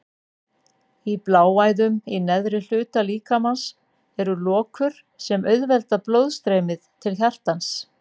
Í bláæðum í neðri hluta líkamans eru lokur sem auðvelda blóðstreymið til hjartans.